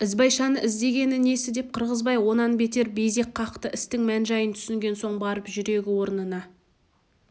ізбайшаны іздегені несі деп қырғызбай онан бетер безек қақты істің мән-жайын түсінген соң барып жүрегі орнына